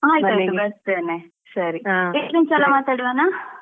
ಆಯ್ತಾಯಿತು ಬರ್ತೇನೆ ಮಾತಾಡುವನ?.